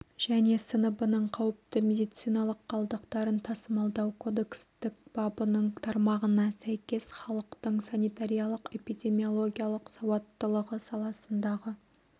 және сыныбының қауіпті медициналық қалдықтарын тасымалдау кодекстің бабының тармағына сәйкес халықтың санитариялық-эпидемиологиялық салауаттылығы саласындағы